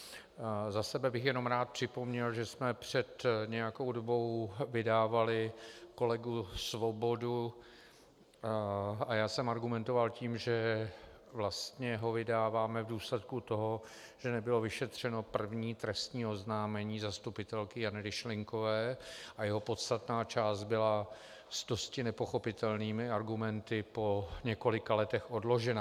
Za sebe bych jenom rád připomněl, že jsme před nějakou dobou vydávali kolegu Svobodu a já jsem argumentoval tím, že vlastně ho vydáváme v důsledku toho, že nebylo vyšetřeno první trestní oznámení zastupitelky Jany Ryšlinkové a jeho podstatná část byla s dosti nepochopitelnými argumenty po několika letech odložena.